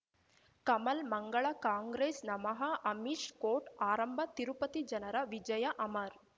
ಕಮಲ್ ಮಂಗಳ ಕಾಂಗ್ರೆಸ್ ನಮಃ ಅಮಿಷ್ ಕೋರ್ಟ್ ಆರಂಭ ತಿರುಪತಿ ಜನರ ವಿಜಯ ಅಮರ್